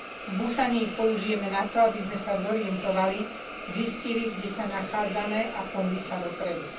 V Busane ich použijeme na to, aby sme sa zorientovali, zistili, kde sa nachádzame, a pohli sa dopredu.